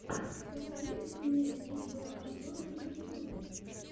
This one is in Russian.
посоветуй мне видеообзоры в ютюбе